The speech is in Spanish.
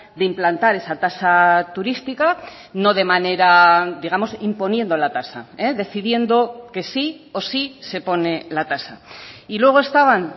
de implantar esa tasa turística no de manera digamos imponiendo la tasa decidiendo que sí o sí se pone la tasa y luego estaban